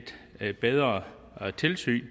at lave et bedre tilsyn